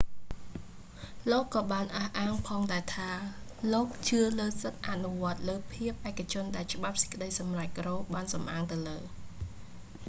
លោកក៏បានអះអាងផងដែរថា លោកជឿលើសិទ្ធិអនុវត្តលើភាពឯកជនដែលច្បាប់សេចក្តីសម្រេច រ៉ូ roe បានសំអាងទៅលើ